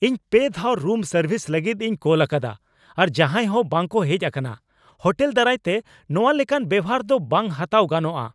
ᱤᱧ ᱯᱮ ᱫᱷᱟᱣ ᱨᱩᱢ ᱥᱟᱨᱵᱷᱤᱥ ᱞᱟᱹᱜᱤᱫ ᱤᱧ ᱠᱚᱞ ᱟᱠᱟᱫᱟ, ᱟᱨ ᱡᱟᱦᱟᱸᱭ ᱦᱚᱸ ᱵᱟᱝ ᱠᱚ ᱦᱮᱡ ᱟᱠᱟᱱᱟ ᱾ ᱦᱳᱴᱮᱞ ᱫᱟᱨᱟᱭ ᱛᱮ ᱱᱚᱶᱟ ᱞᱮᱠᱟᱱ ᱵᱮᱣᱦᱟᱨ ᱫᱚ ᱵᱟᱝ ᱦᱟᱛᱟᱣ ᱜᱟᱱᱚᱜᱼᱟ ᱾